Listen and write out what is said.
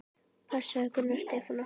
Passaðu Gunnar Stefán okkar.